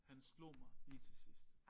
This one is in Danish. Han slog mig lige til sidst